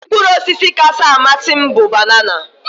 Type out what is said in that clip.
Mkpụrụ ọsisi kacha amasị m bụ banana.